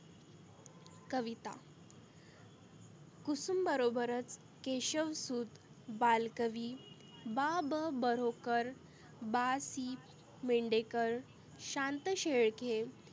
कविता कुसुम बरोबरच Keshavsut Balkavi Ba Ba Borkar, Ba Si Mardhekar, Shanta Shelke